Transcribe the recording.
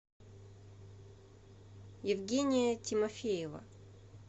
евгения тимофеева